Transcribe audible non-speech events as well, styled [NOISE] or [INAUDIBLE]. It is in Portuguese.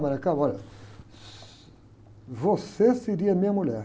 [UNINTELLIGIBLE] olha, você seria minha mulher.